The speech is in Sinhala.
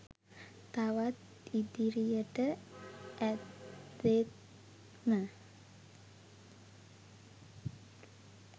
තවත් ඉදිරියට ඇදෙත්ම